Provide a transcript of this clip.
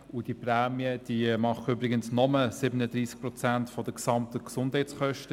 Und diese Prämien decken übrigens nur 37 Prozent der gesamten Gesundheitskosten.